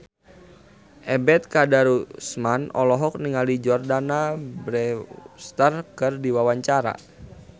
Ebet Kadarusman olohok ningali Jordana Brewster keur diwawancara